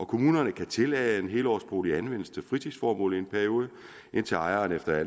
kommunerne kan tillade at en helårsbolig anvendes til fritidsformål i en periode indtil ejeren ønsker at